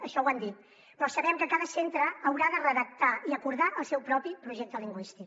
això ho han dit però sabem que cada centre haurà de redactar i acordar el seu propi projecte lingüístic